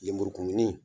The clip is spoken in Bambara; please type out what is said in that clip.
Lemurukumuni